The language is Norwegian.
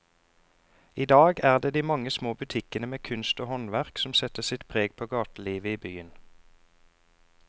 I dag er det de mange små butikkene med kunst og håndverk som setter sitt preg på gatelivet i byen.